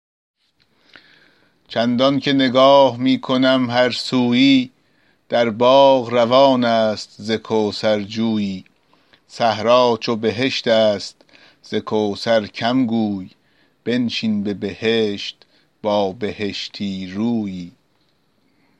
چندان که نگاه می کنم هر سویی در باغ روان است ز کوثر جویی صحرا چو بهشت است ز کوثر کم گوی بنشین به بهشت با بهشتی رویی